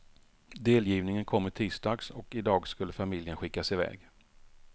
Delgivningen kom i tisdags och idag skulle familjen skickas iväg.